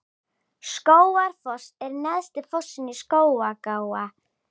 Skógafoss er neðsti fossinn í Skógaá.